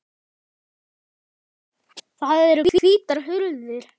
Það eru hvítar hurðir.